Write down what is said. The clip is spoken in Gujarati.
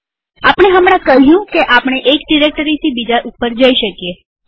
આપણે હમણાં કહ્યું કે આપણે એક ડિરેક્ટરીથી બીજા ઉપર જઈ શકીએ